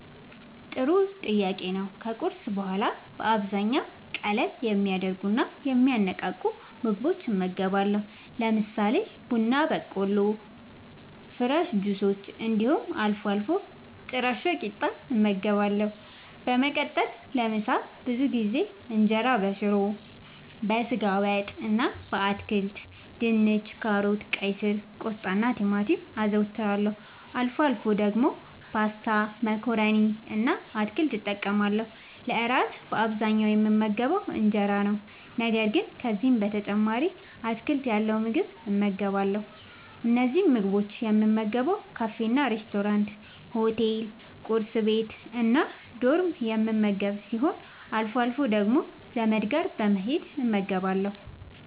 ጥሩ ጥያቄ ነዉ ከቁርስ በኋላ በአብዛኛዉ ቀለል የሚያደርጉና የሚያነቃቁ ምግቦችን እመገባለሁ። ለምሳሌ፦ ቡና በቆሎ፣ ፍረሽ ጁሶች እንዲሁም አልፎ አልፎ ጥረሾ ቂጣ እመገባለሁ። በመቀጠልም ለምሳ ብዙ ጊዜ እንጀራበሽሮ፣ በስጋ ወጥ እና በአትክልት( ድንች፣ ካሮት፣ ቀይስር፣ ቆስጣናቲማቲም) አዘወትራለሁ። አልፎ አልፎ ደግሞ ፓስታ መኮረኒ እና አትክልት እጠቀማለሁ። ለእራት በአብዛኛዉ የምመገበዉ እንጀራ ነዉ። ነገር ግን ከዚህም በተጨማሪ አትክልት ያለዉ ምግብ እመገባለሁ። እነዚህን ምግቦች የምመገበዉ ካፌናሬስቶራንት፣ ሆቴል፣ ቁርስ ቤት፣ እና ዶርም የምመገብ ሲሆን አልፎ አልፎ ደግሞ ዘመድ ጋር በመሄድ እመገባለሁ።